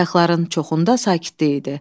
Qayıqların çoxunda sakitlik idi.